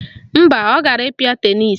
Mba, ọ gara ịkpịa tenisi